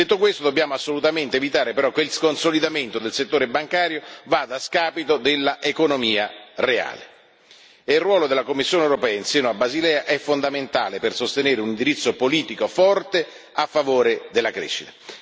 Detto questo, dobbiamo assolutamente evitare, però, che il consolidamento del settore bancario vada a scapito dell'economia reale e il ruolo della Commissione europea in seno a Basilea è fondamentale per sostenere un indirizzo politico forte, a favore della crescita.